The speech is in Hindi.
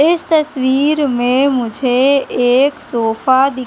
इस तस्वीर में मुझे एक सोफा दि--